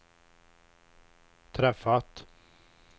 träffat